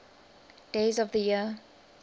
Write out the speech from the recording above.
days of the year